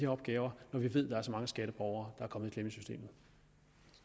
opgaver når vi ved at der er så mange skatteborgere